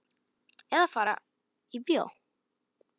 Eða fari í bíó.